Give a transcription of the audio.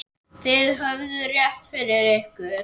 Þið höfðuð rétt fyrir ykkur.